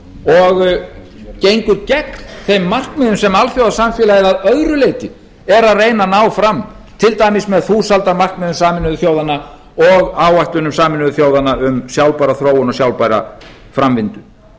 og gengur gegn þeim markmiðum sem alþjóðasamfélagið að öðru leyti er að reyna að ná fram til dæmis með þúsaldarmarkmiðum sameinuðu þjóðanna og áætlun sameinuðu þjóðanna um sjálfbæra þróun og sjálfbæra framvindu hér hef ég